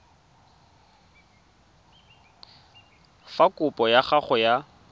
fa kopo ya gago ya